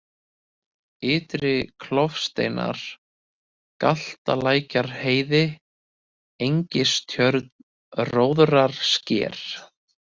Ytri-Klofasteinar, Galtalækjarheiði, Engistjörn, Róðrarsker